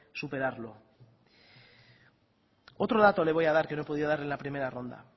superarlo otro dato le voy a dar que no he podido darle en la primera ronda